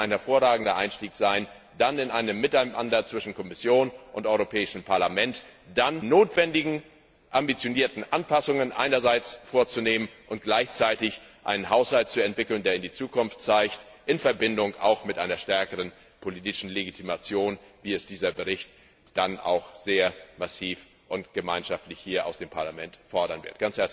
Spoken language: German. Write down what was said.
Das könnte ein hervorragender Einstieg sein, in einem Miteinander zwischen Kommission und Europäischem Parlament die notwendigen ambitionierten Anpassungen vorzunehmen und gleichzeitig einen Haushalt zu entwickeln, der in die Zukunft weist, in Verbindung mit einer stärkeren politischen Legitimation, wie es dieser Bericht dann auch sehr massiv und gemeinschaftlich hier aus dem Parlament fordern wird.